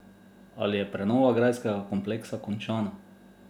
Ali je prenova grajskega kompleksa končana?